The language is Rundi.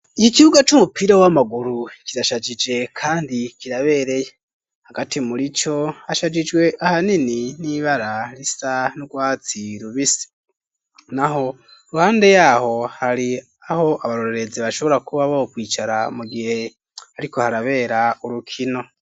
Iki kibuga, c'umupira w'amaguru, kirashajije, kandi kirabereye; hagati muri co, hashajijwe ahanini, n'ibara risa n'urwatsi rubisi; naho iruhande y'aho, hari aho abarorezi, bashobora kuba bokwicara, mu gihe hariko harabera, urukino.